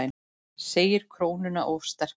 Segir krónuna of sterka